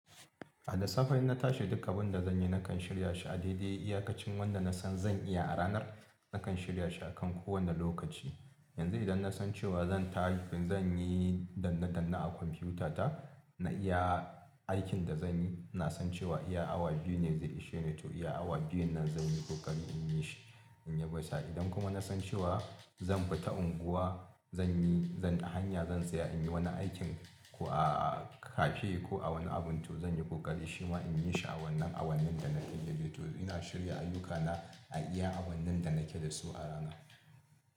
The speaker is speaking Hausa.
A da safe in na tashi duk abun da zan yi nakan shirya shi a daidai iyakacin wanda na san zan iya a ranar, nakan shirya shi akan kowane lokaci. Yanzu idan na san cewa zan ta zan yi danna danna a kwamfutata, na iya aikin da zan yi, na san cewa iya awa biyu ne zai ishe ni to iya awa biyun nan zan yi kokari in yi shi in ya bai sa. Idan kuma na san cewa zan fita unguwa zan yi, zan, a hanya zan tsaya in yi wani aikin ko a cafe ko a wani abun to zan yi kokari shima in yi shi a wannan, a wannin da nake da shi to ina shirya ayyukana a iya awannin da nake da su a rana.